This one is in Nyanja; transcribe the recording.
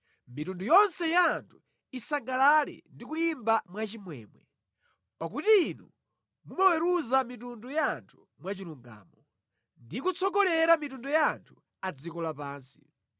Mitundu yonse ya anthu isangalale ndi kuyimba mwachimwemwe, pakuti inu mumaweruza mitundu ya anthu mwachilungamo ndi kutsogolera mitundu ya anthu a dziko lapansi.